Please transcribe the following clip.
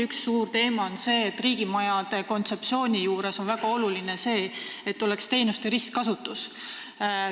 Üks suur teema on see, et riigimajade kontseptsiooni puhul on väga oluline see, et meil oleks teenuste ristkasutus.